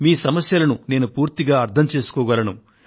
మీ సమస్యలను నేను పూర్తిగా అర్థం చేసుకోగలను